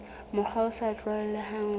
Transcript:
mokgwa o sa tlwaelehang re